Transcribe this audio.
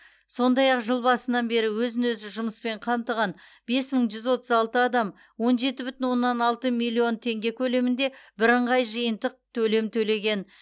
сондай ақ жыл басынан бері өзін өзі жұмыспен қамтыған бес мың жүз отыз алты адам он жеті бүтін оннан алты миллион теңге көлемінде бірыңғай жиынтық төлем төлеген